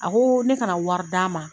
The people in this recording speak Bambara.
A ko ne kana wari d'a ma.